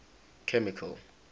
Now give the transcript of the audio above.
chemical